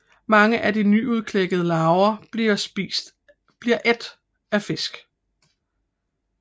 Mange af de nyudklækkede larver bliver ædt af fisk